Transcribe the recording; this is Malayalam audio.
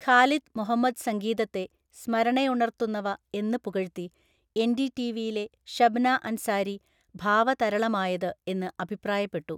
ഖാലിദ് മുഹമ്മദ് സംഗീതത്തെ സ്മരണയുണർത്തുന്നവ എന്ന് പുകഴ്ത്തി, എൻ‌ഡി‌ടി‌വിയിലെ ഷബ്‌ന അൻസാരി ഭാവതരളമായത് എന്ന് അഭിപ്രായപ്പെട്ടു.